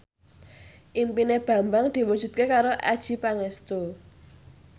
impine Bambang diwujudke karo Adjie Pangestu